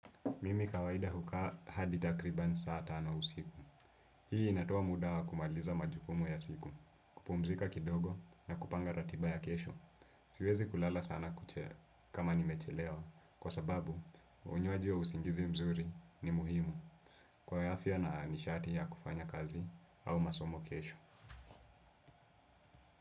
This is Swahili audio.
Mimi kawaida hukaa hadi takriban saa tano usiku. Hii inatoa muda wa kumaliza majukumu ya siku, kupumzika kidogo na kupanga ratiba ya kesho. Siwezi kulala sana kuche kama nimechelewa kwa sababu unywaji wa usingizi mzuri ni muhimu kwa ya afya na nishati ya kufanya kazi au masomo kesho.